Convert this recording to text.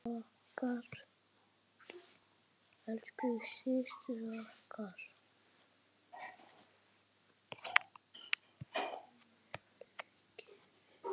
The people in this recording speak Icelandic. Lífið hefur leikið við mig.